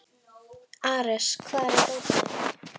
Ares, hvar er dótið mitt?